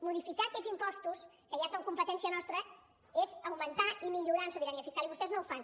modificar aquests impostos que ja són competència nostra és augmentar i millorar en sobirania fiscal i vostès no ho fan